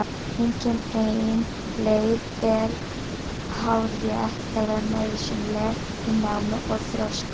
Engin ein leið er hárrétt eða nauðsynleg í námi og þroska.